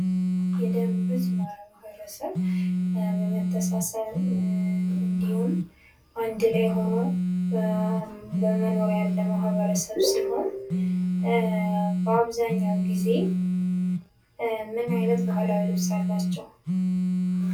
የደቡብ ህዝብ ማህበረሰብ በመተሳሰብ እንድሁም አንድ ላይ ሁኖ በመኖር ያለ ማህበረሰብ ሲሆን በአብዛኛው ጊዜ ምን አይነት ባህላዊ ልብስ አላቸው?